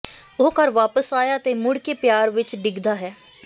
ਉਹ ਘਰ ਵਾਪਸ ਆਇਆ ਅਤੇ ਮੁੜ ਕੇ ਪਿਆਰ ਵਿੱਚ ਡਿੱਗਦਾ ਹੈ